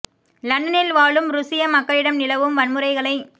லண்டனில் வாழும் ருசிய மக்களிடம் நிலவும் வன்முறைகளை